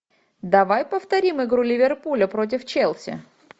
давай повторим игру ливерпуля против челси